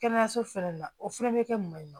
Kɛnɛyaso fɛnɛ na o fɛnɛ bɛ kɛ mun ye